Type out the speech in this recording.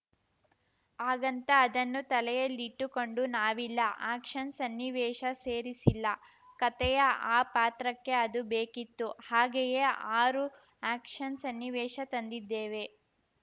ಹಾಗಂತ ಅದನ್ನು ತಲೆಯಲ್ಲಿಟ್ಟುಕೊಂಡು ನಾವಿಲ್ಲ ಆ್ಯಕ್ಷನ್‌ ಸನ್ನಿವೇಶ ಸೇರಿಸಿಲ್ಲ ಕತೆಯ ಆ ಪಾತ್ರಕ್ಕೆ ಅದು ಬೇಕಿತ್ತು ಹಾಗೆಯೇ ಆರು ಆ್ಯಕ್ಷನ್‌ ಸನ್ನಿವೇಶ ತಂದಿದ್ದೇವೆ